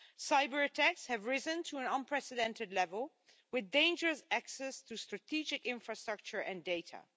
Cyberattacks have risen to an unprecedented level, with dangerous access to strategic infrastructure and data.